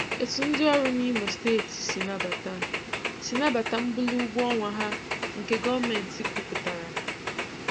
Etu ndị ọrụ n'Imo Steeti si n'abata si n'abata mbuli ụgwọ ọnwa ha nke gọọmenti kwupụtara